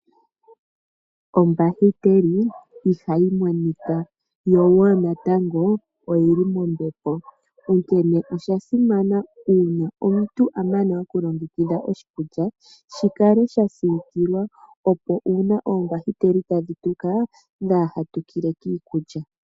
Ombahiteli iha yi monika yo woo natango oyili mombepo, onkene osha simana uuna omuntu amana oku longekidha oshikulya shikale sha siikilwa, opo uuna oombahiteli ta dhi tuka dhaa ha tukile koshi kulya.